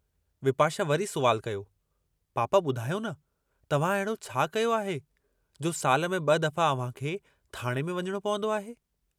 विपाशा वरी सुवालु कयो, पापा बुधायो न तव्हां अहिड़ो छा कयो आहे, जो साल में ब दफ़ा अव्हांखे थाणे में वञणो पवंदो आहे।